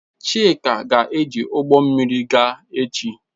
Chika ga-eji ụgbọ mmiri gaa echi.